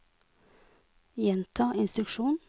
gjenta instruksjon